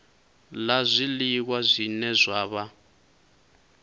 la zwiliwa zwine zwa vha